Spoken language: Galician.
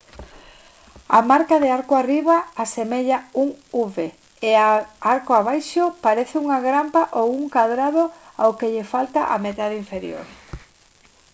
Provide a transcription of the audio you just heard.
a marca de «arco arriba» asemella un v e a de «arco abaixo» parece unha grampa ou un cadrado ao que lle falta a metade inferior